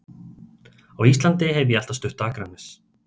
Á Íslandi hef ég alltaf stutt Akranes.